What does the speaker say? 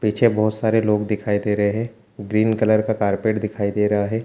पीछे बहोत सारे लोग दिखाई दे रहे है ग्रीन कलर का कारपेट दिखाई दे रहा है।